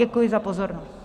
Děkuji za pozornost.